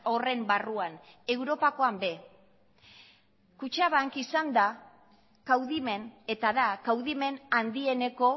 horren barruan europakoan ere kutxabank izan da kaudimen eta da kaudimen handieneko